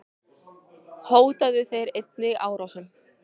Hótuðu þeir einnig árásum.